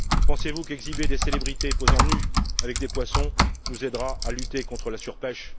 Pensez vous qu'exhiber des célébrités posant nues avec des poissons nous aidera à lutter contre la surpêche?